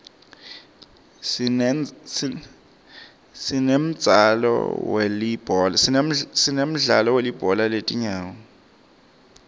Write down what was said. sinemdzalo welibhola letingawo